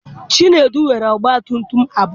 Chinedu nwere ọgba tum tum abụọ.